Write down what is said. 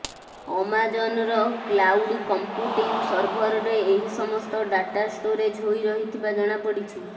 ଆମାଜନ୍ର cloud computing ସର୍ଭରରେ ଏହି ସମସ୍ତ ଡ଼ାଟା ଷ୍ଟୋରେଜ ହୋଇ ରହିଥିବା ଜଣାପଡ଼ିଛି